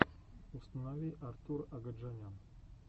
установи артур агаджанян